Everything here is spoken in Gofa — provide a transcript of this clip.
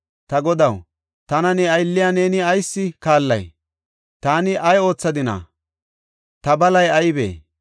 Ta godaw, tana ne aylliya neeni ayis kaallay? Taani ay oothadina? Ta balay aybee?